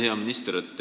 Hea minister!